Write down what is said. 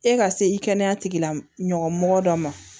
E ka se i kɛnɛya tigilamɔgɔ mɔgɔ dɔ ma